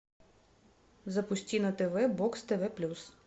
запусти на тв бокс тв плюс